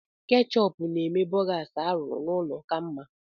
Ketchup na-eme borgas arụrụ n'ụlọ ka mma.